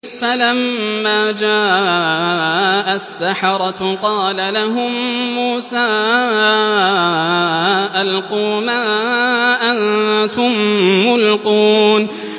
فَلَمَّا جَاءَ السَّحَرَةُ قَالَ لَهُم مُّوسَىٰ أَلْقُوا مَا أَنتُم مُّلْقُونَ